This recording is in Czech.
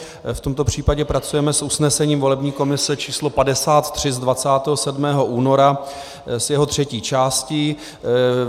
V tomto případě pracujeme s usnesením volební komise č. 53 z 27. února, s jeho třetí částí.